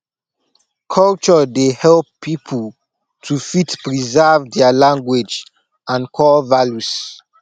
culture dey help pipo to fit preserve their language and core values